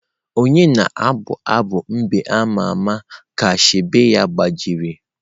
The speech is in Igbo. Onye na-abụ abụ mbe ama ama ka shegbe ya gbajiri?